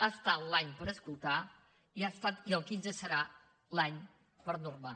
ha estat l’any per escoltar i el quinze serà l’any per normar